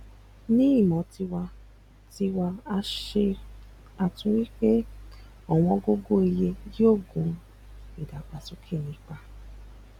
ni imo tiwa tiwa a se atunwi pe owongogoiye yoo gun idagbasoke nipa